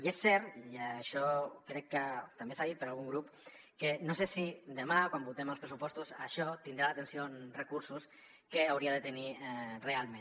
i és cert i això crec que també s’ha dit per algun grup que no sé si demà quan votem els pressupostos això tindrà l’atenció en recursos que hauria de tenir realment